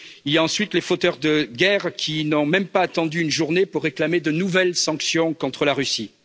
Certains, ensuite, sont des fauteurs de guerre qui n'ont même pas attendu une journée pour réclamer de nouvelles sanctions contre la Russie.